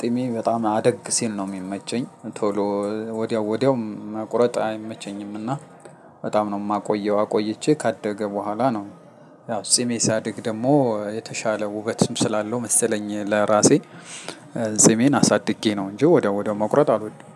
ጢሜ በጣም አደግ ሲል ነው የሚመቸኝ ቶሎ ወዲያው ወዲያው መቁረጥ አይመቸኝምና። በጣም ነው የማቆየው አቆይቼ ካደገ በኋላ ነው። ያው ጺሜ ሳድግ ደግሞ የተሻለ ውበትም ስላለው መሰለኝ ለራሴ። ጢሜን አሳድጌ ነው እንጂ ወዳው ወዳው መቁረጥ አልወድም።